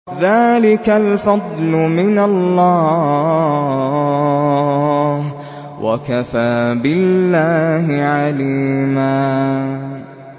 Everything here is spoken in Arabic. ذَٰلِكَ الْفَضْلُ مِنَ اللَّهِ ۚ وَكَفَىٰ بِاللَّهِ عَلِيمًا